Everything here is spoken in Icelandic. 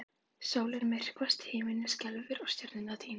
Sólin myrkvast og himinninn skelfur og stjörnurnar týnast!